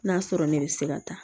N'a sɔrɔ ne bɛ se ka taa